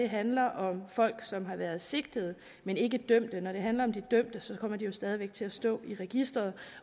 handler om folk som har været sigtet men ikke dømt når det handler om de dømte kommer de jo stadig væk til at stå i registeret